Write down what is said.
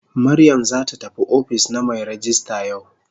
Mariam zata tafi ofis na mai rejista yau.